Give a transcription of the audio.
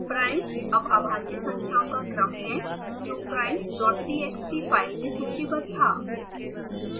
primes अब अभाज्य संख्याओं का क्रम है जो primestxt फाइल में सूचीबद्ध था